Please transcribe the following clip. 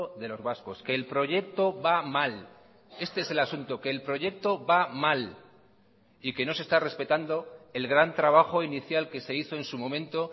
de los vascos que el proyecto va mal este es el asunto que el proyecto va mal y que no se está respetando el gran trabajo inicial que se hizo en su momento